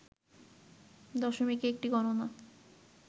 দশমিকে একটি গণনা